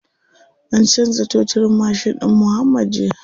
An canza toturin mashin ɗin muuhammad jiya.